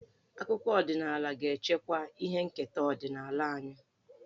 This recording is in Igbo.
Akụkọ ọdịnaala ga-echekwa ihe nketa ọdịnala anyị.